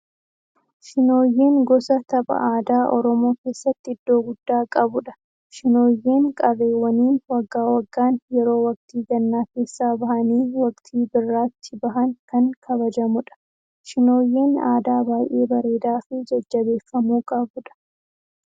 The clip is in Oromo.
Shinooyyeen gosa tapha aadaa Oromoo keessatti iddoo guddaa qabudha. Shinooyyeen qarreewwaniin waggaa waggaan yeroo waktii gannaa keessaa bahanii waqtii biraatti bahan kan kabajamudha. Shinooyyeen aadaa baayyee bareedaa fi jajjabeeffamuu qabudha.